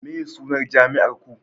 meye sunan jami'ar Ku